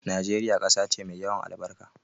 Nigeria ƙasa ce mai yawan albarka